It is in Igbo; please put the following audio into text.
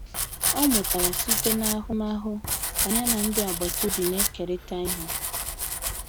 Ọ mụtara site n'ahụmahụ ka ya na ndị agbata obi na-ekerịta ihe.